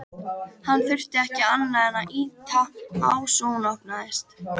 Hann þurfti ekki annað en ýta á svo hún opnaðist.